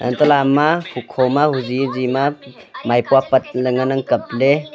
talamma hukho ma hozi hozi ma maipua patle ngan nang kaple.